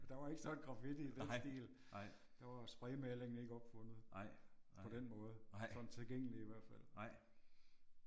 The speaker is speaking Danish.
Der var ikke sådan graffiti i den stil. Der var spraymalingen ikke opfundet på den måde sådan tilgængelig i hvert fald